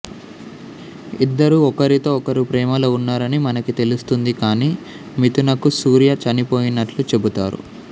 ఇద్దరూ ఒకరితో ఒకరు ప్రేమలో ఉన్నారని మనకి తెలుస్తుంది కానీ మిథునకు సూర్య చనిపోయినట్లు చెబుతారు